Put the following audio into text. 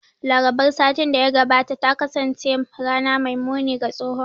Larabar satin da ya gabata ta kasance rana mai muni ga tsohon